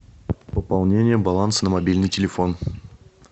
пополнение баланса на мобильный телефон